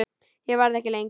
Ég verð ekki lengi